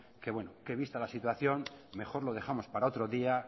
que vista la situación mejor lo dejamos para otro día